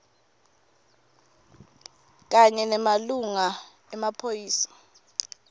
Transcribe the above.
kanye nemalunga emaphoyisa